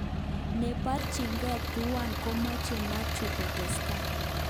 Neborchinke tuwan komoche Mathew kostake2